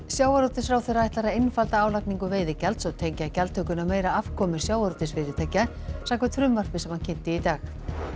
sjávarútvegsráðherra ætlar að einfalda álagningu veiðigjalds og tengja gjaldtökuna meira afkomu sjávarútvegsfyrirtækja samkvæmt frumvarpi sem hann kynnti í dag